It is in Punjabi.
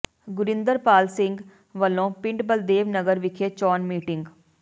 ਗੁਰਿੰਦਰਪਾਲ ਸਿੰਘ ਵੱਲੋਂ ਪਿੰਡ ਬਲਦੇਵ ਨਗਰ ਵਿਖੇ ਚੋਣ ਮੀਟਿੰਗ